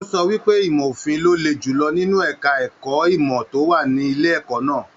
O sọ wípé ìmọ òfin ló lé julọ nínú èka ẹ̀kọ́ ìmọ to wà nílé ẹ̀kọ́ náà.